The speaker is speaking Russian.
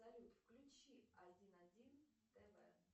салют включи один один тв